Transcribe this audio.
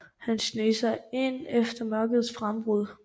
Han sneg sig ind efter mørkets frembrud